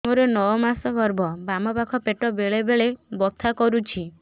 ମୋର ନଅ ମାସ ଗର୍ଭ ବାମ ପାଖ ପେଟ ବେଳେ ବେଳେ ବଥା କରୁଛି